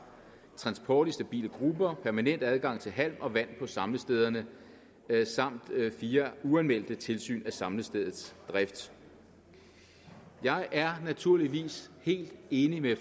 transport i stabile grupper permanent adgang til halm og vand på samlestederne samt fire uanmeldte tilsyn af samlestedets drift jeg er naturligvis helt enig med